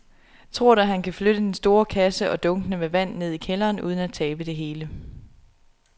Tror du, at han kan flytte den store kasse og dunkene med vand ned i kælderen uden at tabe det hele?